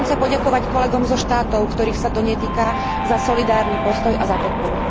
Chcem sa poďakovať kolegom zo štátov, ktorých sa to netýka, za solidárny postoj a za podporu.